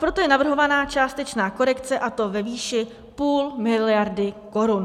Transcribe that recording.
Proto je navrhována částečná korekce, a to ve výši půl miliardy korun.